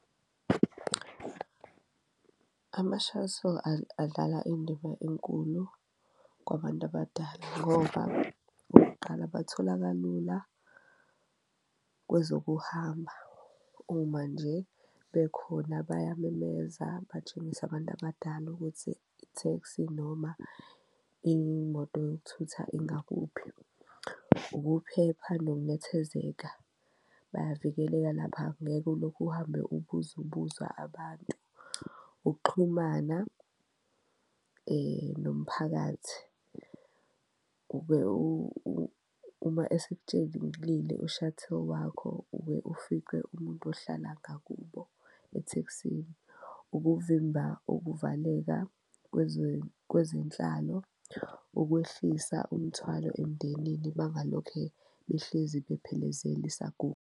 Ama-shuttle adlala indima enkulu kwabantu abadala ngoba okokuqala bathola kalula kwezokuhamba uma nje bekhona bayamemeza, batshengise abantu abadala ukuthi itheksi noma imoto yokuthutha ingakuphi. Ukuphepha nokunethezeka, bayavikeleka lapha ngeke ulokhu uhambe ubuza ubuza abantu, ukuxhumana nomphakathi kube uma u-shuttle wakho ube ufice umuntu ohlala ngakubo ethekisini. Ukuvimba ukuvaleka kwezenhlalo, ukwehlisa umthwalo emndenini bangalokhe behlezi bephelezela isaguga.